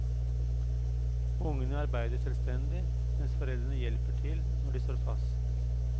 Ungene arbeider selvstendig, mens foreldrene hjelper til når de står fast.